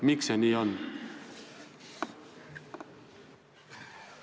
Miks see nii on?